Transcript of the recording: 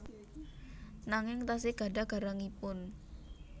Nanging tasih gadhah garangipun